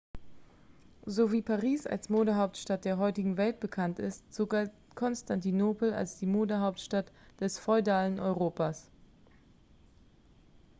so wie paris als modehauptstadt der heutigen welt bekannt ist so galt konstantinopel als die modehauptstadt des feudalen europas